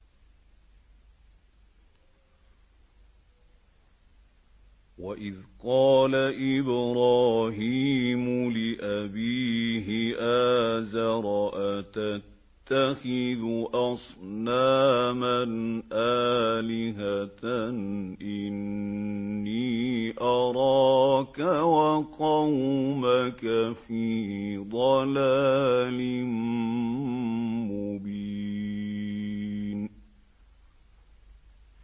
۞ وَإِذْ قَالَ إِبْرَاهِيمُ لِأَبِيهِ آزَرَ أَتَتَّخِذُ أَصْنَامًا آلِهَةً ۖ إِنِّي أَرَاكَ وَقَوْمَكَ فِي ضَلَالٍ مُّبِينٍ